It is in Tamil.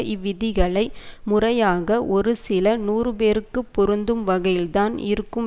இவ்விதிகளை முறையாக ஒரு சில நூறுபேருக்கு பொருந்தும் வகையில்தான் இருக்கும்